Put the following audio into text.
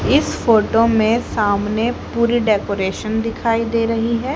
इस फोटो में सामने पूरी डेकोरेशन दिखाई दे रही है।